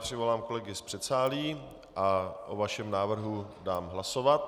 Přivolám kolegy z předsálí a o vašem návrhu dám hlasovat.